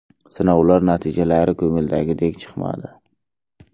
Sinovlar natijalari ko‘ngildagidek chiqmadi.